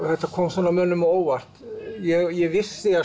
þetta kom mönnum á óvart ég vissi